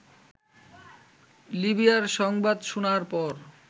লিবিয়ার সংবাদ শোনার পর